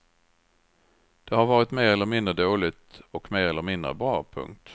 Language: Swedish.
Det har varit mer eller mindre dåligt och mer eller mindre bra. punkt